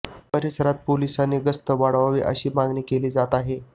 परिसरात पोलिसांनी गस्त वाढवावी अशी मागणी केली जात आहे